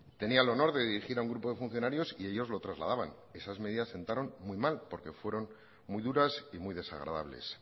tenía el honor de dirigir a un grupo de funcionarios y ellos lo trasladaban esas medidas sentaron muy mal porque fueron muy duras y muy desagradables